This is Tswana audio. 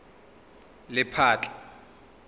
lephatla